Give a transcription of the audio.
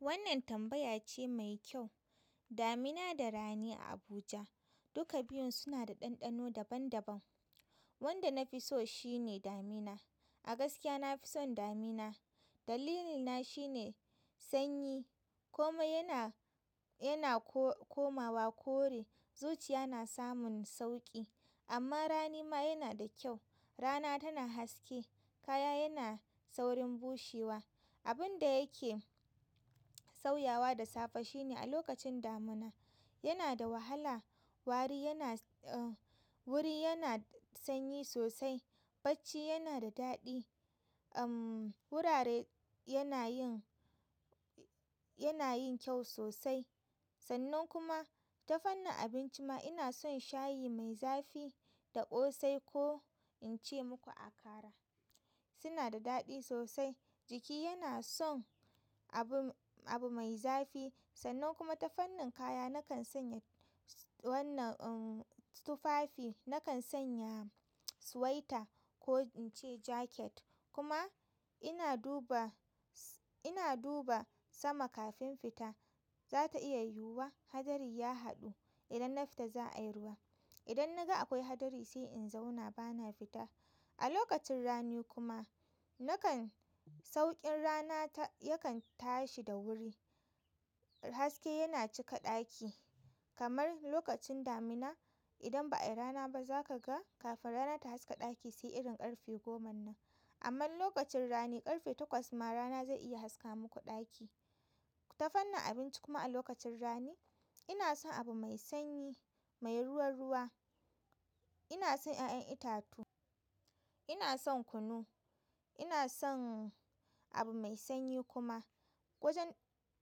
Wannan tambaya ce mai kyau. Damina da rani a Abuja, duka biyun suna da ɗanɗano daban daban wanda na fi so shi ne damina. A gaskiya na fi son damina. Dalilina shi ne sanyi, komai yana, yana ko-komawa kore, zuciya na samun sauƙi. Amma rani ma yana da kyau. Rana tana haske, kaya yana saurin bushewa. Abin da yake sauyawa da safe shi ne a lokacin damina yana da wahala. Wari yana, uh, wuri yana sanyi sosai, bacci yana da daɗi. Uhm, wurare yana yin, yana yin kyau sosai. Sannan kuma ta fannin abinci ma ina son shayi mai zafi da ƙosai ko in ce muku akara. Suna da daɗi sosai. Jiki yana son abu, abu mai zafi. Sannan kuma ta fannin kaya nakan sanya wannan, uhm, tufafi nakan sanya swaita ko in ce jaket kuma ina duba, ina duba sama kafin fita. Za ta iya yiwuwa hadari ya haɗu. Idan na fita za a yi ruwa. Idan na ga akwai hadari sai in zauna bana fita. A lokacin rani kuma, nakan sauƙin rana ta yakan tashi da wuri. Haske yana cika ɗaki kamar lokacin damina. Idan ba ayi rana ba za ka ga kafin rana ta haska ɗaki sai irin ƙarfe goma nan. Amma lokacin rani ƙarfe takwas ma rana zai iya haska muku ɗaki. Ta fannin abinci kuma a lokacin rani ina son abu mai sanyi, mai ruwa ruwa. Ina son ƴaƴan itatuwa, ina son kunu, ina son abu mai sanyi kuma wajen,